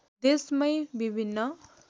देशमै विभिन्न